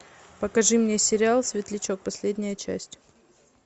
покажи мне сериал светлячок последняя часть